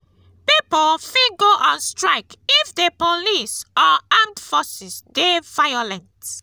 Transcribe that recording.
pipo fit go on strike if the police or armed forces de violent